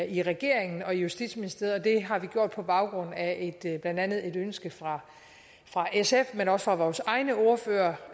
i regeringen og i justitsministeriet det har vi gjort på baggrund af blandt andet et ønske fra fra sf men også fra vores egne ordførere